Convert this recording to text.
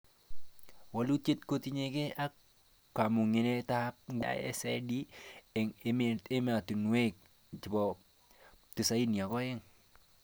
Walutik kotingee ak kamangunetab nguni nebo PISA ak PISA-D eng ematinwek 92